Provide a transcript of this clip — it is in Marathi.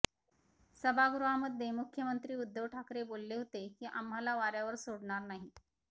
सभागृहामध्ये मुख्यमंत्री उद्धव ठाकरे बोलले होते की आम्हाला वाऱ्यावर सोडणार नाही